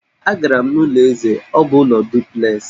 Agara m n'ụlọ eze, ọ bụ ụlọ duplexị